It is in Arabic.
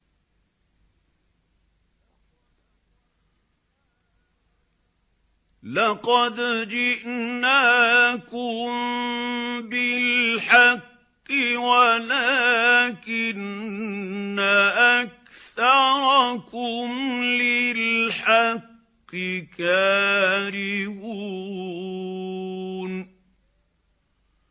لَقَدْ جِئْنَاكُم بِالْحَقِّ وَلَٰكِنَّ أَكْثَرَكُمْ لِلْحَقِّ كَارِهُونَ